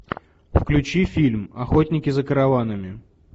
включи фильм охотники за караванами